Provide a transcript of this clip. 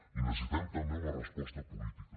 i necessitem també una resposta política